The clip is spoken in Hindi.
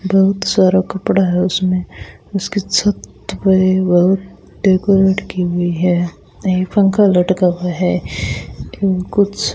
बहुत सारा कपड़ा है उसमें उसकी छत पे बहुत डेकोरेट की हुई है नई पंखा लटका हुआ है तो कुछ --